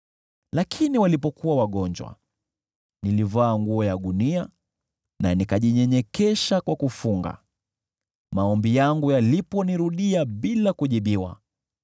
Lakini walipokuwa wagonjwa, nilivaa nguo ya gunia na nikajinyenyekesha kwa kufunga. Maombi yangu yaliponirudia bila kujibiwa,